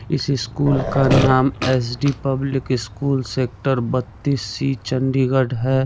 इस स्कूल का नाम S D public school sector बत्तीस सी चंडीगढ़ है।